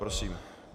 Prosím.